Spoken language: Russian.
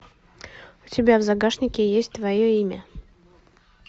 у тебя в загашнике есть твое имя